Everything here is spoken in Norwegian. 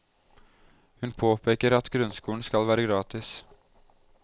Hun påpeker at grunnskolen skal være gratis.